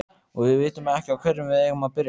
Og við vitum ekki á hverju við eigum að byrja.